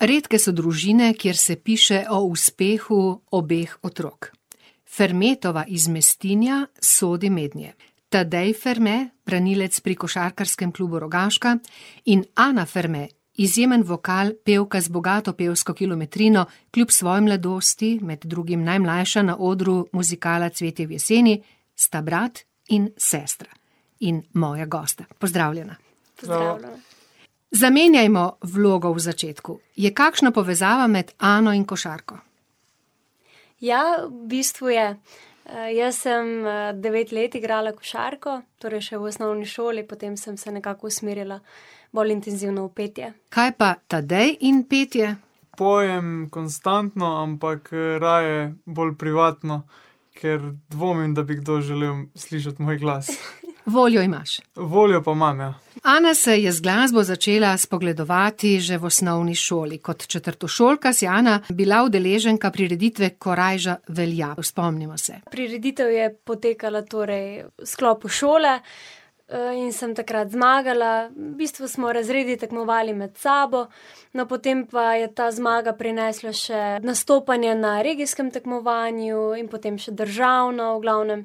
Redke so družine, kjer se piše o uspehu obeh otrok. Fermetova iz Mestinja sodi mednje. Tadej Ferme, branilec pri košarkarskem klubu Rogaška, in Ana Ferme, izjemen vokal, pevka z bogato pevsko kilometrino kljub svoji mladosti, med drugim najmlajša na odru muzikala Cvetje v jeseni, sta brat in sestra in moja gosta. Pozdravljena. Pozdravljena. Pozdravljena. Zamenjajmo vlogo v začetku. Je kakšna povezava med Ano in košarko? Ja, bistvu je. jaz sem, devet let igrala košarko, torej še v osnovni šoli, potem sem se nekako usmerila bolj intenzivno v petje. Kaj pa Tadej in petje? Pojem konstantno, ampak, raje bolj privatno, ker dvomim, da bi kdo želel slišati moj glas. Voljo imaš. Voljo pa imam, ja. Ana se je z glasbo začela spogledovati že v osnovni šoli, kot četrtošolka si, Ana, bila udeleženka prireditve Korajža velja, spomnimo se. Prireditev je potekala torej v sklopu šole, in sem takrat zmagala, v bistvu smo razredu tekmovali med sabo. No, potem pa je ta zmaga prinesla še nastopanje na regijskem tekmovanju in potem še državno, v glavnem,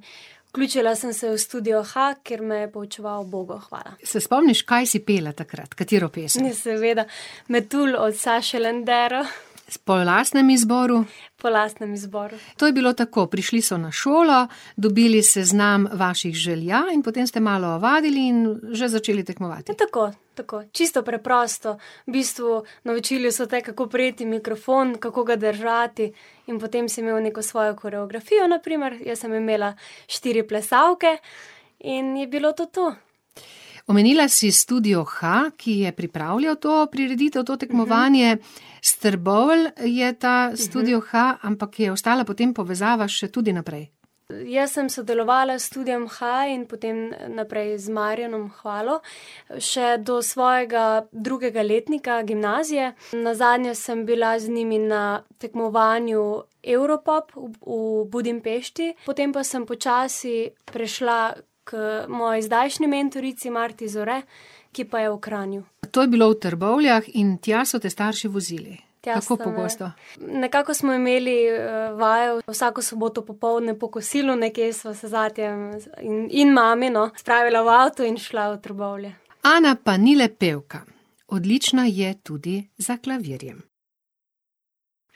vključila sem se v Studio Ha, kjer me je poučeval Hvala. Se spomniš, kaj si pela takrat, katero pesem? seveda, Metulj od Saše Lendero. po lastnem izboru? Po lastnem izboru. To je bilo tako, prišli so na šolo, dobili seznam vaših želja in potem ste malo vadili in že začeli tekmovati. tako, tako. Čisto preprosto, v bistvu naučili so te, kako prijeti mikrofon, kako ga držati, in potem si imel neko svojo koreografijo, na primer, jaz sem imela štiri plesalke in je bilo to to. Omenila si Studio Ha, ki je pripravljal to prireditev, to tekmovanje, s Trbovelj je ta Studio Ha, ampak je ostala potem povezava še tudi naprej. Jaz sem sodelovala s Studiem Ha in potem naprej z Marjanom Hvalo še do svojega drugega letnika gimnazije. Nazadnje sem bila z njimi na tekmovanju Evropop v Budimpešti, potem pa sem počasi prišla k moji zdajšnji mentorici, Marti Zore, ki pa je v Kranju. To je bilo v Trbovljah in tja so te starši vozili. Tja so me ... Kako pogosto? Nekako smo imeli, vaje vsako soboto popoldne, po kosilu nekje sem se z atijem in, in mami, no, odpravila v avto in šla v Trbovlje. Ana pa ni le pevka. Odlična je tudi za klavirjem.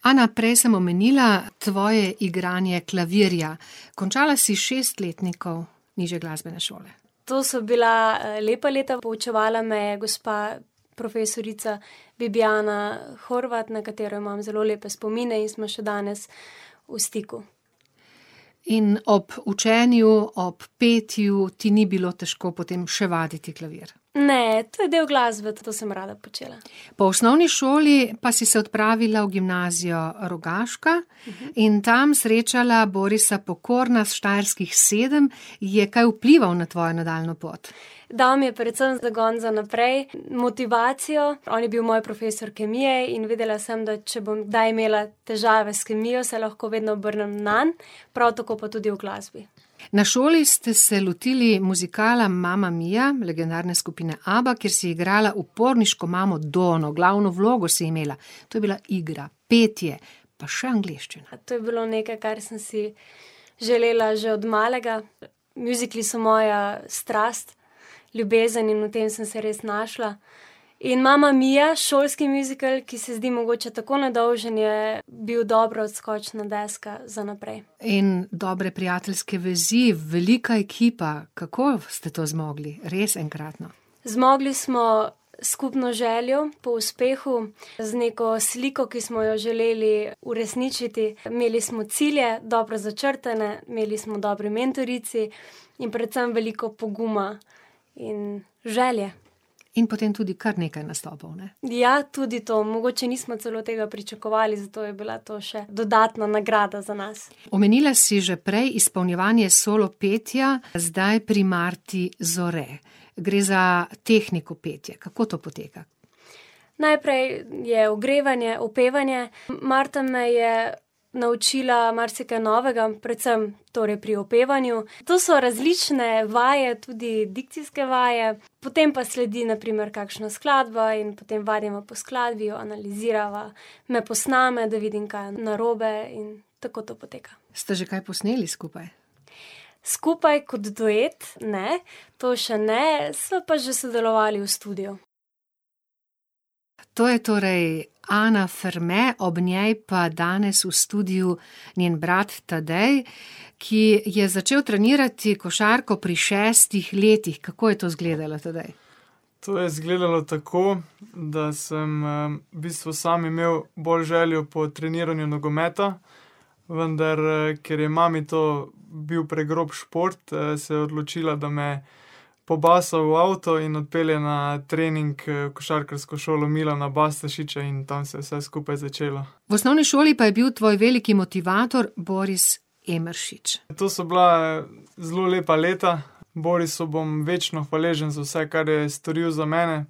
Ana, prej sem omenila tvoje igranje klavirja. Končala si šest letnikov nižje glasbene šole. To so bila, lepa leta, poučevala me je gospa profesorica [ime in priimek] , na katero imam zelo lepe spomine in smo še danes v stiku. In ob učenju, ob petju ti ni bilo težko potem še vaditi klavir? Ne, to je del glasbe, tudi to sem rada počela. Po osnovni šoli pa si se odpravila v Gimnazijo Rogaška in tam srečala Borisa Pokorna s Štajerskih sedem, je kaj vplival na tvojo nadaljnjo pot? Dal mi je predvsem zagon za naprej, motivacijo, on je bil moj profesor kemije in videla sem, da če bom kdaj imela težave s kemijo, se lahko vedno obrnem nanj, prav tako pa tudi v glasbi. Na šoli ste se lotili muzikala Mamma Mia legendarne skupine Abba, kjer si igrala uporniško imamo Donno, glavno vlogo si imela. To je bila igra, petje pa še angleščina. To je bilo nekaj, kar sem si želela že od malega. Mjuzikli so moja strast, ljubezen in v tem sem se res našla. In Mamma Mia, šolski mjuzikel, ki se zdi mogoče tako nedolžen, je bil dobra odskočna deska za naprej. In dobre prijateljske vezi, velika ekipa, kako ste to zmogli? Res enkratno. Zmogli smo s skupno željo po uspehu, z neko sliko, ki smo jo želeli uresničiti. Imeli smo cilje, dobro začrtane, imeli smo dobri mentorici in predvsem veliko poguma in želje. In potem tudi kar nekaj nastopov, ne? Ja, tudi to, mogoče nismo celo tega pričakovali, zato je bila to še dodatna nagrada za nas. Omenila si že prej izpolnjevanje solopetja, zdaj pri Marti Zore. Gre za tehniko petja, kako to poteka? Najprej je ogrevanje, upevanje, Marca me je naučila marsikaj novega, predvsem torej pri upevanju, to so različne vaje, tudi dikcijske vaje. Potem pa sledi na primer kakšna skladba in potem vadimo po skladbi, jo analizirava. Me posname, da vidim, kaj je narobe, in tako to poteka. Sta že kaj posneli skupaj? Skupaj kot duet ne, to še ne, sva pa že sodelovali v studiu. To je torej Ana Ferme, ob njej pa danes v studiu njen brat Tadej, ki je začel trenirati košarko pri šestih letih, kako je to izgledalo, Tadej? To je izgledalo tako, da sem, v bistvu sam imel bolj željo po treniranju nogometa, vendar, ker je mami to bil pregrob šport, se je odločila, da me pobaše v avto in odpelje na trening, v košarkarsko šolo Milana Bastašiča in tam se je vse skupaj začelo. V osnovni šoli pa je bil tvoj veliki motivator Boris Emeršič. To so bila zelo lepa leta. Borisu bom večno hvaležen za vse, kar je storil za mene,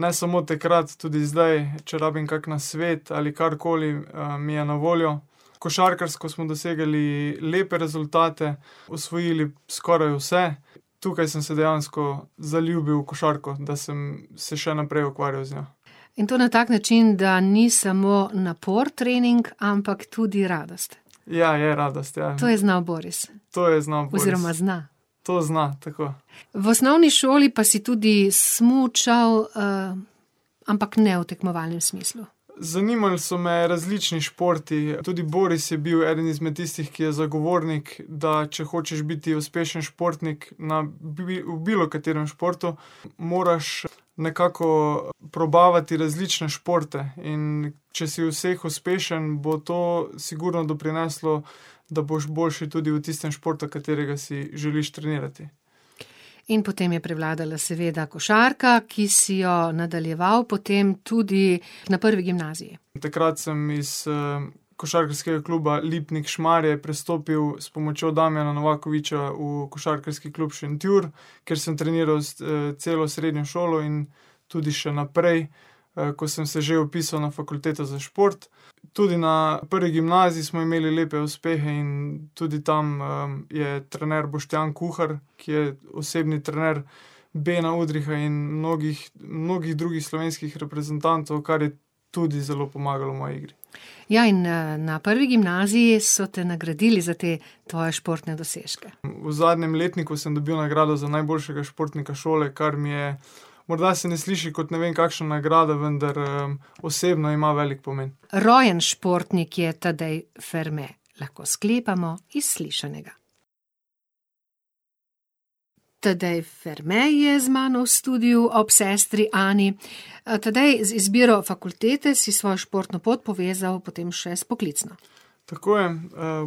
ne samo takrat, tudi zdaj, če rabim kakšen nasvet ali karkoli, mi je na voljo. Košarkarsko smo dosegali lepe rezultate, osvojili skoraj vse. Tukaj sem se dejansko zaljubil v košarko, da sem se še naprej ukvarjal z njo. In to na tak način, da ni samo napor trening, ampak tudi radost. Ja, je radost, ja. To je znal Boris. To je znal Boris. Oziroma zna. To zna, tako. V osnovni šoli pa si tudi smučal, ampak ne v tekmovalnem smislu. Zanimali so me različni športi, tudi Boris je bil eden izmed tistih, ki je zagovornik, da če hočeš biti uspešen športnik, na, v bilo katerem športu moraš nekako probavati različne športe, in če si v vseh uspešen, bo to sigurno doprineslo, da boš boljši tudi v tistem športu, katerega si želiš trenirati. In potem je prevladala seveda košarka, ki si jo nadaljeval potem tudi na prvi gimnaziji. Takrat sem iz, Košarkarskega kluba Lipnik Šmarje prestopil s pomočjo Damjana Novakoviča v Košarkarski klub Šentjur, kjer sem treniral celo srednjo šolo in tudi še naprej, ko sem se že vpisal na Fakulteto za šport. Tudi na prvi gimnaziji smo imeli lepe uspehe in tudi tam, je trener Boštjan Kuhar, ki je osebni trener Bena Udriha in mnogih, mnogih drugih slovenskih reprezentantov, kar je tudi zelo pomagalo moji igri. Ja, in, na prvi gimnaziji so te nagradili za te tvoje športne dosežke. V zadnjem letniku sem dobil nagrado za najboljšega športnika šole, kar mi je ... Morda se ne sliši kot ne vem kakšna nagrada, vendar, osebno ima veliko pomen. Rojen športnik je Tadej Ferme, lahko sklepamo iz slišanega. Tadej Ferme je z mano v studiu ob sestri Ani. Tadej, z izbiro fakultete si svojo športno pot povezal potem še s poklicem. Tako je,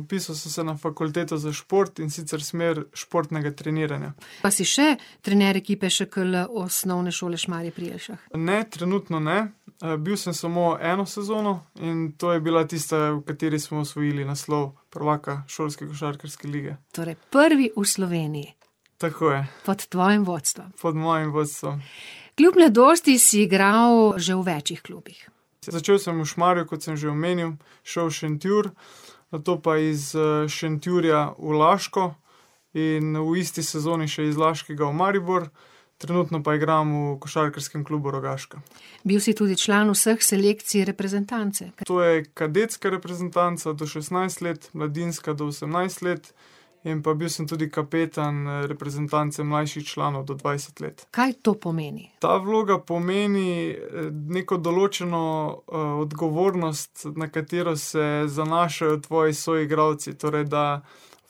vpisal sem se na Fakulteto za šport, in sicer smer športnega treniranja. Pa si še trener ekipe ŠKL Osnovne šole Šmarje pri Jelšah? Ne, trenutno ne. bil sem samo eno sezono in to je bila tista, v kateri smo osvojili naslov prvaka šolske košarkarske lige. Torej prvi v Sloveniji. Tako je. Pod tvojim vodstvom. Pod mojim vodstvom. Kljub mladosti si igral že v več klubih. Začel sem v Šmarju, kot sem že omenil, šel v Šentjur, nato pa iz, Šentjurja v Laško in v isti sezoni še iz Laškega v Maribor. Trenutno pa igram v Košarkarskem klubu Rogaška. Bil si tudi član vseh selekcij reprezentance. To je kadetska reprezentanca do šestnajst let, mladinska do osemnajst let in pa bil sem tudi kapetan, reprezentance mlajših članov do dvajset let. Kaj to pomeni? Ta vloga pomeni, neko določeno, odgovornost, na katero se zanašajo tvoji soigralci, torej da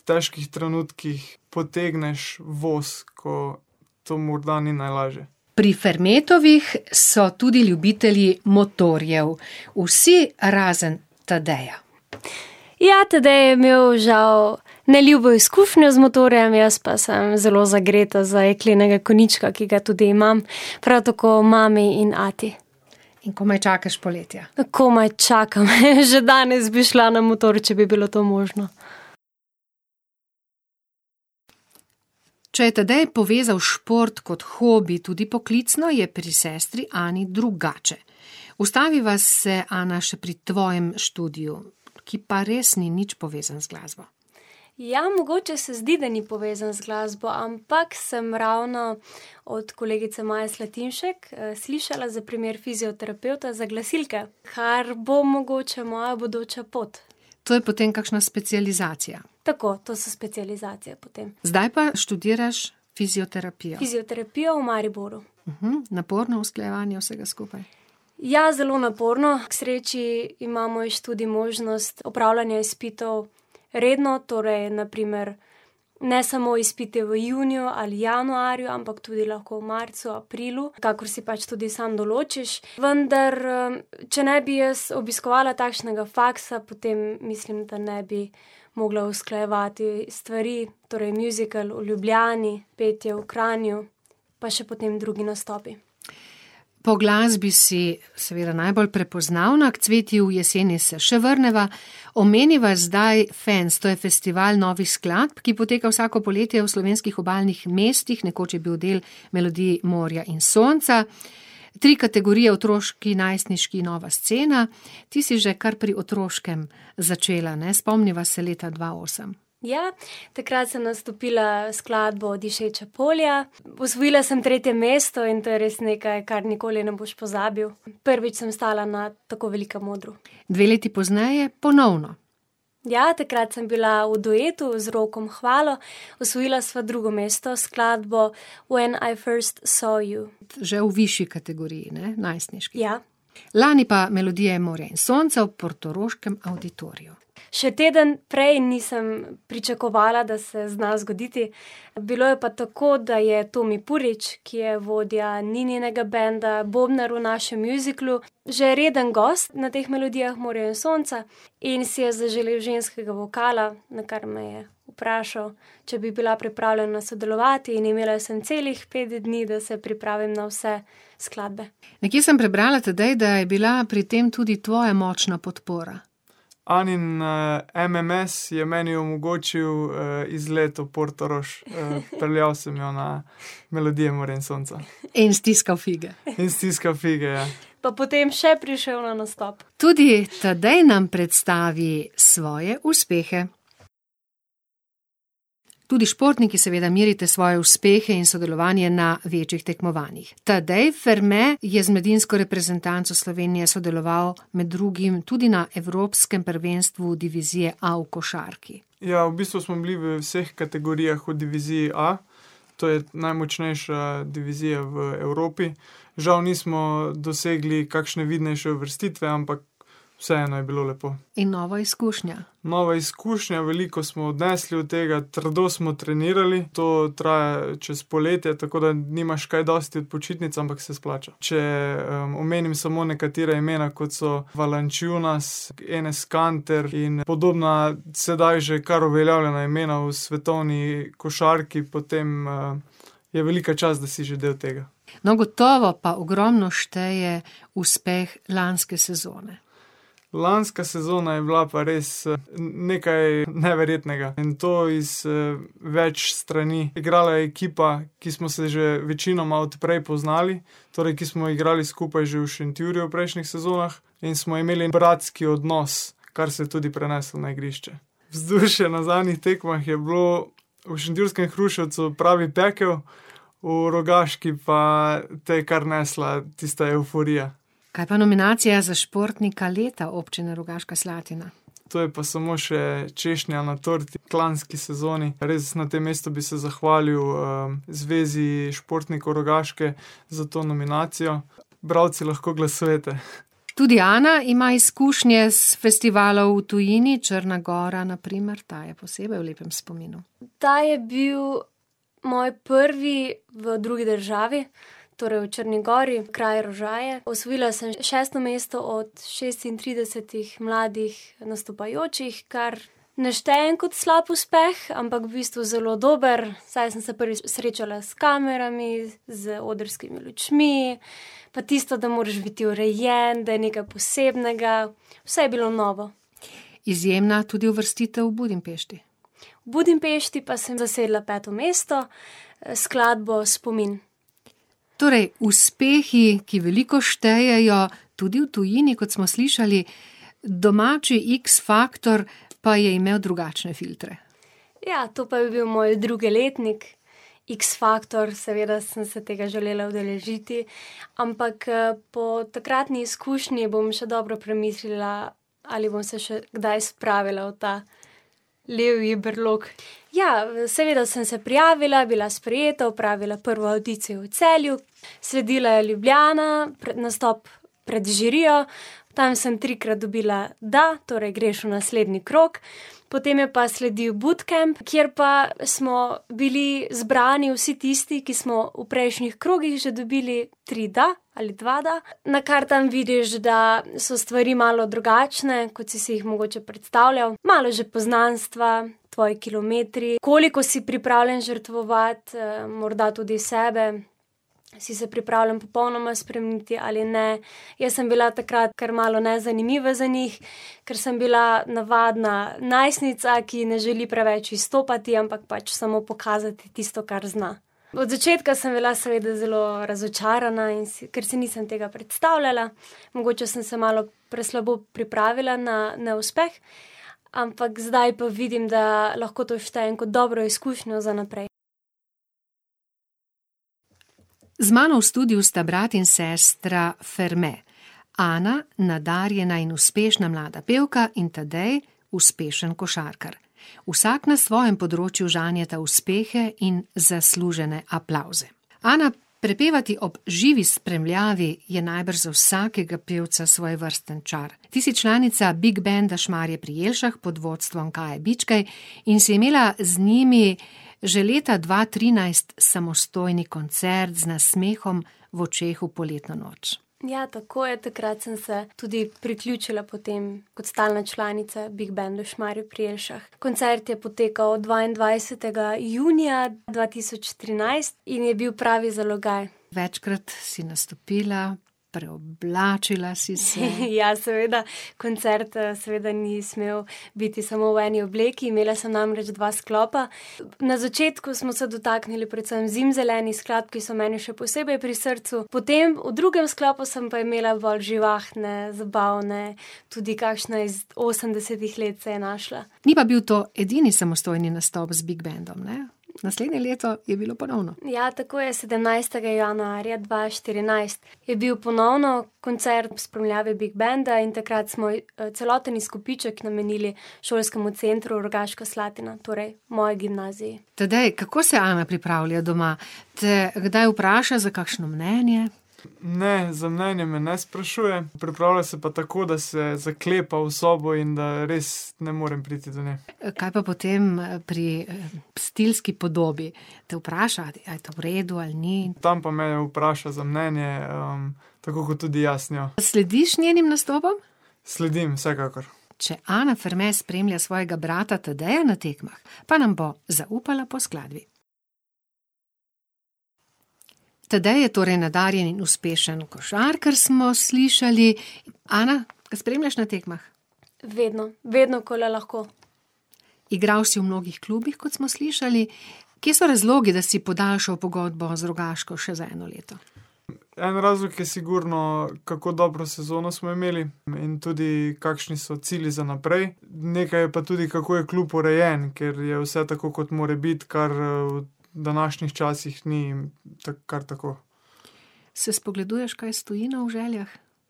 v težkih trenutkih potegneš voz, ko to morda ni najlažje. Pri Fermetovih so tudi ljubitelji motorjev. Vsi razen Tadeja. Ja, Tadej je imel žal neljubo izkušnjo z motorjem, jaz pa sem zelo zagreta za jeklenega konjička, ki ga tudi imam. Prav tako mami in ati. In komaj čakaš poletja. Komaj čakam, , že danes bi šla na motor, če bi bilo to možno. Če je Tadej povezal šport kot hobi tudi poklicno, je pri sestri Ani drugače. Ustaviva se, Ana, še pri tvojem študiju, ki pa res ni nič povezan z glasbo. Ja, mogoče se zdi, da ni povezan z glasbo, ampak sem ravno od kolegice Maje Slatinšek, slišala za primer fizioterapevta za glasilke, kar bo mogoče moja bodoča pot. To je potem kakšna specializacija? Tako, to so specializacije potem. Zdaj pa študiraš fizioterapijo. Fizioterapijo v Mariboru. Naporno usklajevanje vsega skupaj? Ja, zelo naporno, k sreči ima moj študij možnost opravljanja izpitov redno, torej na primer ne samo izpiti v juniju ali januarju, ampak tudi lahko v marcu, aprilu, kakor si pač tudi sam določiš. Vendar, če ne bi jaz obiskovala takšnega faksa, potem mislim, da ne bi mogla usklajevati stvari, torej mjuzikel v Ljubljani, petje v Kranju pa še potem drugi nastopi. Po glasbi si seveda najbolj prepoznavna, k Cvetju v jeseni se še vrneva, omeniva zdaj Fens, to je festival novih skladb, ki poteka vsako poletje v slovenskih obalnih mestih, nekoč je bil del Melodij morja in sonca. Tri kategorije; otroški, najstniški, nova scena, ti si že kar pri otroškem začela, ne, spomniva se leta dva osem. Ja. Takrat sem nastopila s skladbo Dišeča polja, osvojila sem tretje mesto in to je nekaj, kar res nikoli ne boš pozabil, prvič sem stala na tako velikem odru. Dve leti pozneje ponovno. Ja, takrat sem bila v duetu z Rokom Hvalo. Osvojila sva drugo mesto s skladbo When I first saw you. Že v višji kategoriji, ne, najstniški. Ja. Lani pa Melodije morja in sonca v portoroškem avditoriju. Še teden prej nisem pričakovala, da se zna zgoditi. Bilo je pa tako, da je Tomi Purič, ki je vodja Nininega benda, bobnar v našem mjuziklu, že reden gost na teh Melodijah morja in sonca in si je zaželel ženskega vokala, nakar me je vprašal, če bi bila pripravljena sodelovati, in imela sem celih pet dni, da se pripravim na vse skladbe. Nekje sem prebrala, Tadej, da je bila pri tem tudi tvoja močna podpora. Anin, MMS je meni omogočil, izlet v Portorož, peljal sem jo na Melodije morja in sonca. In stiskal fige. In stiskal fige, ja. Pa potem še prišel na nastop. Tudi Tadej nam predstavi svoje uspehe. Tudi športniki seveda merite svoje uspehe in sodelovanje na večjih tekmovanjih. Tadej Ferme je z mladinsko reprezentanco Slovenije sodeloval med drugim tudi na evropskem prvenstvu divizije A v košarki. Ja, v bistvu smo bili v vseh kategorijah v diviziji A, to je najmočnejša divizija v Evropi. Žal nismo dosegli kakšne vidnejše uvrstitve, ampak vseeno je bilo lepo. In nova izkušnja. Nova izkušnja, veliko smo odnesli od tega, trdo smo trenirali, to traja čez poletje, tako da nimaš kaj dosti počitnic, ampak se splača. Če, omenim samo nekatera imena, kot so Valančiūnas, Enes Kanter in podobna, sedaj že kar uveljavljena imena v svetovni košarki, potem, je velika čast, da si že del tega. No, gotovo pa ogromno šteje uspeh lanske sezone. Lanska sezona je bila pa res, nekaj neverjetnega, in to iz več strani, igrala je ekipa, ki smo se že večinoma od prej poznali, torej, ki smo igrali skupaj že v Šentjurju v prejšnjih sezonah, in smo imeli bratski odnos, kar se je tudi preneslo na igrišče. Vzdušje na zadnjih tekmah je bilo v šentjurskem Hruševcu pravi pekel, v Rogaški pa te je kar nesla tista evforija. Kaj pa nominacija za športnika leta Občine Rogaška Slatina? To je pa samo še češnja na torti v lanski sezoni, res, na tem mestu bi se zahvalil, Zvezi športnikov Rogaške za to nominacijo. Bralci lahko glasujete. Tudi Ana ima izkušnje s festivalov v tujini, Črna gora, na primer, ta je posebej v lepem spominu. Ta je bil moj prvi v drugi državi, torej v Črni gori, kraj Rožaje. Osvojila sem šesto mesto od šestintridesetih mladih nastopajočih, kar ne štejem kot slab uspeh, ampak v bistvu zelo dober, saj sem se prvič srečala s kamerami, z odrskimi lučmi, pa tisto, da moraš biti urejen, da je nekaj posebnega, vse je bilo novo. Izjemna tudi uvrstitev v Budimpešti. V Budimpešti pa sem dosegla peto mesto s skladbo Spomin. Torej uspehi, ki veliko štejejo, tudi v tujini, kot smo slišali, domači X factor pa je imel drugačne filtre. Ja, to pa je bil moj drugi letnik, X factor, seveda sem se tega želela udeležiti, ampak, po takratni izkušnji bom še dobro premislila, ali bom se še kdaj spravila v ta levji brlog. Ja, seveda sem se prijavila, bila sprejeta, opravila prvo avdicijo v Celju, sledila je Ljubljana, nastop pred žirijo, tam sem trikrat dobila da, torej greš v naslednji krog, potem je pa sledil bootcamp, kjer pa smo bili zbrani vsi tisti, ki smo v prejšnjih krogih že dobili tri da ali dva da. Nakar tam vidiš, da so stvari malo drugačne, kot si si jih mogoče predstavljal, malo že poznanstva, tvoji kilometri, koliko si pripravljen žrtvovati, morda tudi sebe, si se pripravljen popolnoma spremeniti ali ne. Jaz sem bila takrat kar malo nezanimiva za njih, ker sem bila navadna najstnica, ki ne želi preveč izstopati, ampak pač samo pokazati tisto, kar zna. Od začetka sem bila seveda zelo razočarana in si ... Ker si nisem tega predstavljala. Mogoče sem se malo preslabo pripravila na neuspeh, ampak zdaj pa vidim, da lahko to štejem kot dobro izkušnjo za naprej. Z mano v studiu sta brat in sestra Ferme. Ana, nadarjena in uspešna mlada pevka, in Tadej, uspešen košarkar. Vsak na svojem področju žanjeta svoje uspehe in zaslužene aplavze. Ana, prepevati ob živi spremljavi je najbrž za vsakega pevca svojevrsten čar. Ti si članica Big benda Šmarje pri Jelšah pod vodstvom Kaje Bičkej in si imela z njimi že leta dva trinajst samostojni koncert Z nasmehom v očeh v poletno noč. Ja, tako je, takrat sem se tudi priključila potem kot stalna članica Big bendu Šmarje pri Jelšah. Koncert je potekal dvaindvajsetega junija dva tisoč trinajst in je bil pravi zalogaj. Večkrat si nastopila, preoblačila si se. ja, seveda, koncert, seveda ni smel biti samo v eni obleki, imela sem namreč dva sklopa. Na začetku smo se dotaknili predvsem zimzelenih skladb, ki so meni še posebej pri srcu, potem, v drugem sklopu sem pa imela bolj živahne, zabavne, tudi kakšna iz osemdesetih let se je našla. Ni pa bil to edini samostojni nastop z Big bendom, ne? Naslednje leto je bilo ponovno. Ja, tako je, sedemnajstega januarja dva štirinajst je bil ponovno koncert ob spremljavi Big benda, in takrat smo celoten izkupiček namenili Šolskemu centru Rogaška Slatina, torej moji gimnaziji. Tadej, kako se Ana pripravlja doma, te kdaj vpraša za kakšno mnenje? Ne, za mnenje me ne sprašuje, pripravlja se pa tako, da se zaklepa v sobo in da res ne morem priti do nje. kaj pa potem, pri stilski podobi? Te vpraša: "A je to v redu ali ni?" Tam pa me, ja, vpraša za mnenje, tako kot tudi jaz njo. Slediš njenim nastopom? Sledim, vsekakor. Če Ana Ferme spremlja svojega brata Tadeja na tekmah, pa nam bo zaupala po skladbi. Tadej je torej nadarjen in uspešen košarkar, smo slišali. Ana, ga spremljaš na tekmah? Vedno. Vedno, ko le lahko. Igral si v mnogih klubih, kot smo slišali, kje so razlogi, da si podaljšal pogodbo z Rogaško še za eno leto? En razlog je sigurno, kako dobro sezono smo imeli in tudi kakšni so cilji za naprej. Nekaj je pa tudi, kako je klub urejen, ker je vse tako, kot mora biti, kar, v današnjih časih ni kar tako. Se spogleduješ kaj s tujino v željah?